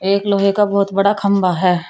एक लोहे का बहुत बड़ा खंबा है।